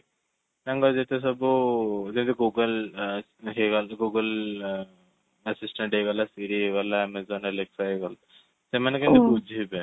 ତାଙ୍କର ଯେତେସବୁ ଯେମିତି କି google google assistant ହେଇଗଲା, Siri ହେଇଗଳା, amazon Alexa ହେଇଗଲା, ସେମାନେ କେମିତି ବୁଝିବେ?